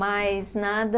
Mas nada